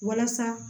Walasa